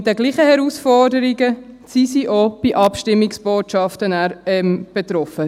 Mit denselben Herausforderungen sind sie dann auch bei Abstimmungsbotschaften betroffen.